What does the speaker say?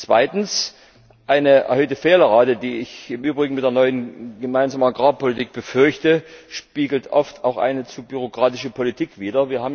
Zweitens Eine erhöhte Fehlerrate, die ich im Übrigen mit der neuen gemeinsamen Agrarpolitik befürchte, spiegelt oft auch eine zu bürokratische Politik wider.